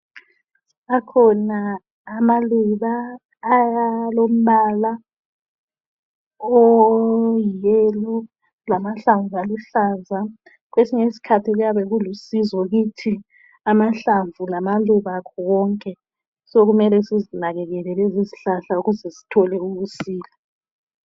Akhona amaluba alombala oyi yellow lamahlamvu aluhlaza kwesinye isikhathi kuyabe kulusizo kithi amahlamvu lamaluba akho konke sokumele sizinakekele lezi izihlahla ukuze sithole ukusila.